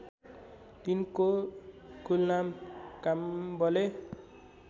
तिनको कुलनाम काम्बले